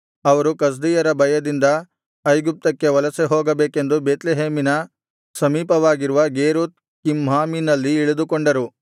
ಅವರು ಕಸ್ದೀಯರ ಭಯದಿಂದ ಐಗುಪ್ತಕ್ಕೆ ವಲಸೆಹೋಗಬೇಕೆಂದು ಬೇತ್ಲೆಹೇಮಿನ ಸಮೀಪವಾಗಿರುವ ಗೇರುಥ್ ಕಿಮ್ಹಾಮಿನಲ್ಲಿ ಇಳಿದುಕೊಂಡರು